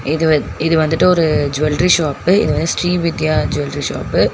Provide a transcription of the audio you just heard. இது வந் இது வந்துட்டு ஒரு ஜுவல்ரி ஷாப்பு இது வந்து ஸ்ரீ வித்யா ஜுவல்ரி ஷாப்பு .